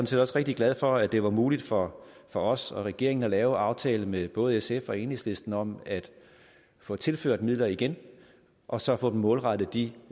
set også rigtig glad for at det var muligt for for os og regeringen at lave en aftale med både sf og enhedslisten om at få tilført midler igen og så få dem målrettet de